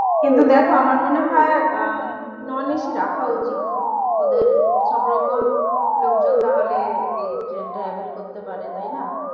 কিন্তু দেখো আমার মনে হয় আহ non AC রাখা উচিৎ ওদের সব রকম লোকজন তাহলে এই ট্রেনটা able করতে পারে তাই না?